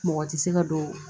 Mɔgɔ tɛ se ka don